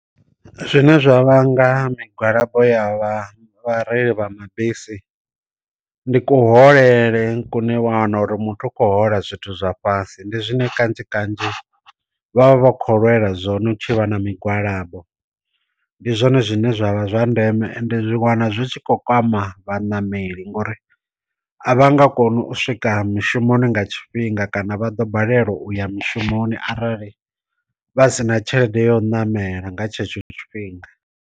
Zwine zwa vhanga migwalabo ya vhareili vha mabisi ndi ku holele kune wa wana uri muthu u khou hola zwithu zwa fhasi ndi zwine kanzhi kanzhi vha vha vha kho lwela zwone u tshi vha na migwalabo ndi zwone zwine zwavha zwa ndeme ende zwi wana zwi tshi khou kwama vha nameli ngori a vha nga kona u swika mushumoni nga tshifhinga kana vha ḓo balelwa uya mishumoni arali vha sina tshelede ya u ṋamela nga tshetsho tshifhinga.